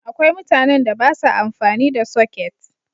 Akwai mutanen da ba sa amfani da soket.